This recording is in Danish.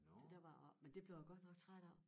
Så der var jeg oppe men det blev jeg godt nok træt af